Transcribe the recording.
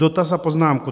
Dotaz a poznámku.